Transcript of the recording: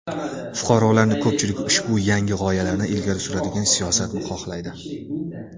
Fuqarolarni ko‘pchiligi ushbu yangi g‘oyalarni ilgari suradigan siyosatni xohlaydi.